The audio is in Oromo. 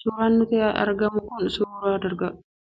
Suuraan nutti argamu kun, suuraa